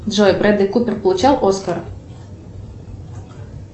джой бредли купер получал оскар